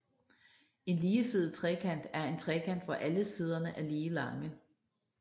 En ligesidet trekant er en trekant hvor alle siderne er lige lange